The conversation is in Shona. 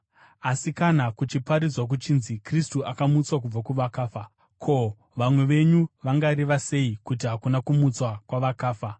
Asi kana kuchiparidzwa kuchinzi Kristu akamutswa kubva kuvakafa, ko, vamwe venyu vangareva sei kuti hakuna kumutswa kwavakafa?